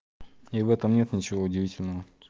и в этом нет ничего удивительного